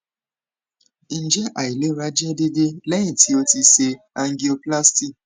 njẹ ailera jẹ deede lẹhin ti o ti ṣe angioplasty